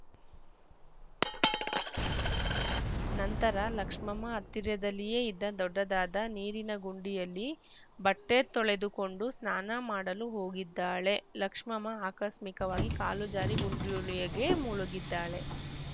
ನಂತರ ಲಕ್ಷ್ಮಮ್ಮ ಹತ್ತಿರದಲ್ಲಿಯೇ ಇದ್ದ ದೊಡ್ಡದಾದ ನೀರಿನ ಗುಂಡಿಯಲ್ಲಿ ಬಟ್ಟೆತೊಳೆದುಕೊಂಡು ಸ್ನಾನ ಮಾಡಲು ಹೋಗಿದ್ದಾಳೆ ಲಕ್ಷಮ್ಮ ಆಕಸ್ಮಿಕವಾಗಿ ಕಾಲು ಜಾರಿ ಗುಂಡಿಯೊಳಗೆ ಮುಳುಗಿದ್ದಾಳೆ